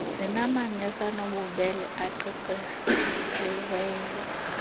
zinamanesi anobubele aqeqesiweyo